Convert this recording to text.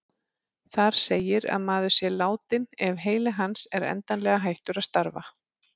Þar segir að maður sé látinn ef heili hans er endanlega hættur að starfa.